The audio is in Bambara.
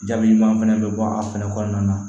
Jaabi ɲuman fɛnɛ bɛ bɔ a fɛnɛ kɔnɔna na